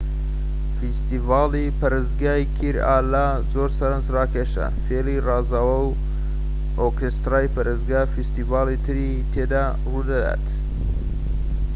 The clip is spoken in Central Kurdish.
فیستیڤالی پەرستگای کیرالا زۆر سەرنجراکێشە فیلی رازاوە و ئۆرکێسترای پەرستگا و فیستیڤالی تری تێدا ڕوودەدات